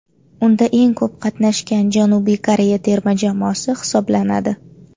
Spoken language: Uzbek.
Unda eng ko‘p qatnashgan Janubiy Koreya terma jamoasi hisoblanadi.